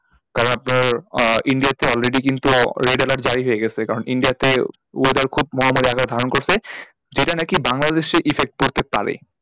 কারণ আপনার ah india তে already কিন্তু আহ red alert জারি হয়েগেছে কারণ india তেও weather খুব মহামারী আকার ধারণ করেছে যেটা না কি বাংলাদেশে effect পড়তে পারে।